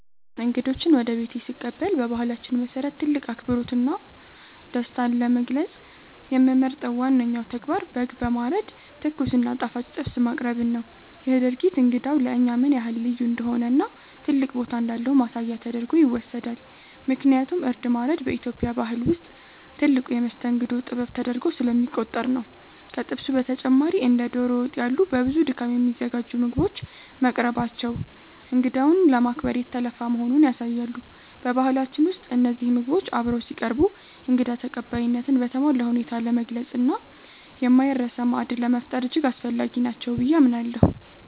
እንግዶችን ወደ ቤቴ ስቀበል በባህላችን መሰረት ትልቅ አክብሮትና ደስታን ለመግለጽ የምመርጠው ዋነኛው ተግባር በግ በማረድ ትኩስ እና ጣፋጭ ጥብስ ማቅረብን ነው። ይህ ድርጊት እንግዳው ለእኛ ምን ያህል ልዩ እንደሆነና ትልቅ ቦታ እንዳለው ማሳያ ተደርጎ ይወሰዳል፤ ምክንያቱም እርድ ማረድ በኢትዮጵያ ባህል ውስጥ ትልቁ የመስተንግዶ ጥበብ ተደርጎ ስለሚቆጠር ነው። ከጥብሱ በተጨማሪ እንደ ዶሮ ወጥ ያሉ በብዙ ድካም የሚዘጋጁ ምግቦች መቅረባቸው እንግዳውን ለማክበር የተለፋ መሆኑን ያሳያሉ። በባህላችን ውስጥ እነዚህ ምግቦች አብረው ሲቀርቡ እንግዳ ተቀባይነትን በተሟላ ሁኔታ ለመግለጽና የማይረሳ ማዕድ ለመፍጠር እጅግ አስፈላጊ ናቸው ብዬ አምናለሁ።